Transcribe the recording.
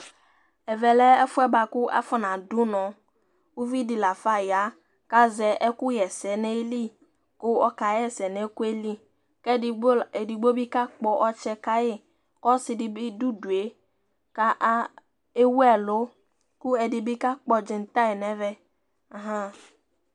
Ɛvɛ lɛ ɛfuɛ afɔ na du unɔ uvidi la fa ya ku azɛ ɛku wa ɛsɛnayili ku ɔka ɣa ɛsɛ du nu ayili ku edigbo dibi kakpɔ ɔtsɛ kayi kɔsi dibi du udue kewu ɛlu ku ɛdini bi kakpɔ dzitar nɛvɛ